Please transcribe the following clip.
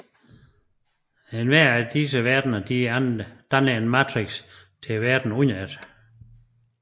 Hver af disse verdener danner en matrix til verden under det